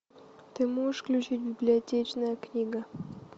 ты можешь включить библиотечная книга